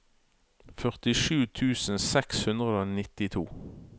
førtisju tusen seks hundre og nittito